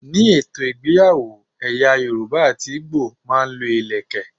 Ni ètò ìgbéyàwó, ẹ̀yà Yorùbá àti Igbo máa ń lo ìlékè.